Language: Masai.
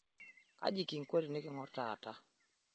Kaji kinko tinikingorr taata?